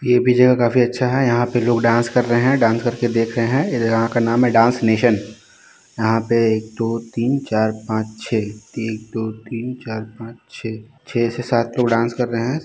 ये जगह काफी अच्छा है यहाँ पर लोग डांस कर रहे हैं डांस करके देख रहे हैं इधर यहाँ का नाम है डांस नेशन यहाँ पर एक दो तीन चार पाँच छह एक दो तीन चार पाँच छह से सात लोग डांस कर रहे हैं।